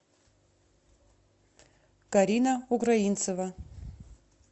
карина украинцева